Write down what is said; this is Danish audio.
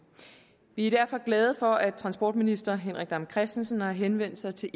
vi er derfor glade for at transportminister henrik dam kristensen har henvendt sig til